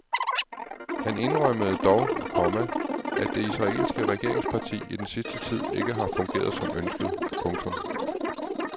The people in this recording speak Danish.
Han indrømmede dog, komma at det israelske regeringsparti i den sidste tid ikke har fungeret som ønsket. punktum